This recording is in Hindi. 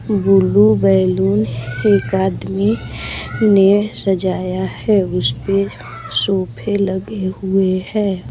बुलू बैलून एक आदमी ने सजाया है उस पे सोफे लगे हुए हैं।